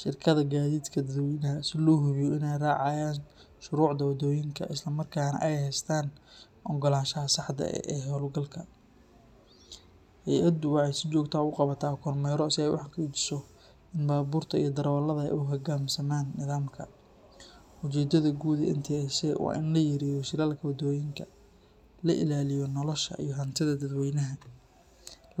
shirkadaha gaadiidka dadweynaha si loo hubiyo in ay raacayaan shuruucda waddooyinka isla markaana ay haystaan oggolaanshaha saxda ah ee hawlgalka. Hay’addu waxay si joogto ah u qabataa kormeerro si ay u xaqiijiso in baabuurta iyo darawallada ay u hoggaansamaan nidaamka. Ujeeddada guud ee NTSA waa in la yareeyo shilalka waddooyinka, la ilaaliyo nolosha iyo hantida dadweynaha,